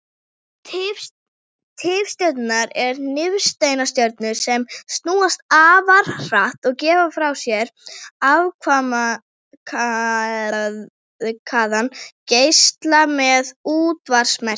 Tifstjörnur eru nifteindastjörnur sem snúast afar hratt og gefa frá sér afmarkaðan geisla með útvarpsmerkjum.